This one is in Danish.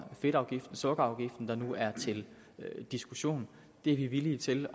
fedtafgiften og sukkerafgiften der nu er til diskussion det er vi villige til